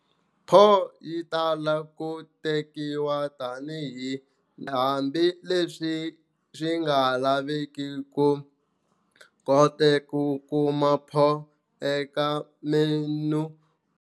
Pho yitala ku tekiwa tani hi hambi leswi swinga koteki ku kuma pho eka ti menu.